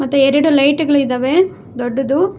ಮತ್ತೆ ಎರಡು ಲೈಟ್ ಗಳಿದವೆ ದೊಡ್ಡದು.